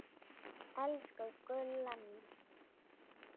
Þekkið þér þessa stúlku?